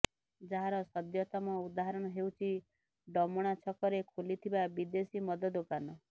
ଯାହାର ସଦ୍ୟତମ ଉଦାହରଣ ହେଉଛି ଡମଣା ଛକରେ ଖୋଲିଥିବା ବିଦେଶୀ ମଦ ଦୋକାନ